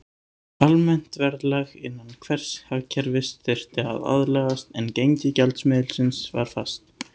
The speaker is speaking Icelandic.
Almennt verðlag innan hvers hagkerfis þurfti að aðlagast, en gengi gjaldmiðilsins var fast.